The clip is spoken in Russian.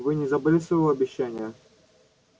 вы не забыли своего обещания